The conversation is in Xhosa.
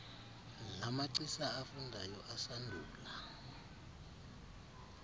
lamagcisa afundayo asandula